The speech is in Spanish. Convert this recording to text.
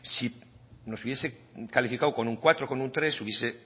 si nos hubiese calificado con un cuatro con un tres hubiese